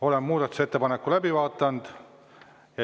Oleme muudatusettepaneku läbi vaadanud.